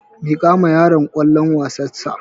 Miƙawa yaron kwallon wasar sa